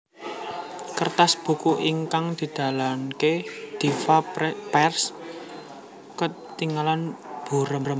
Kertas buku ingkang didalaken Diva Press ketingal burem